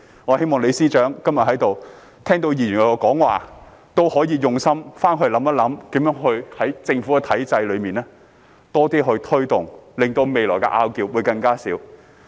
我希望今天在席的李司長聽到議員的發言，可以回去用心思考，如何在政府體制內多些推動，令到未來的爭拗會更少。